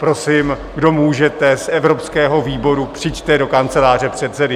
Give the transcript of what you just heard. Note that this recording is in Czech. Prosím, kdo můžete z evropského výboru, přijďte do kanceláře předsedy.